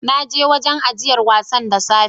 Na je wurin ajiyar wasan da safe